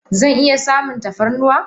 Zan iya samun tafarnuwa?